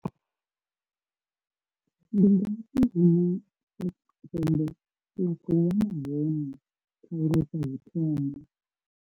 Ndi ngafhi hune hune Afrika Tshipembe ḽa khou hone khaelo dza u thoma?